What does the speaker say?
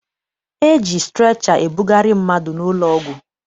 E ji strecha ebugharị mmadụ n'ụlọọgwụ.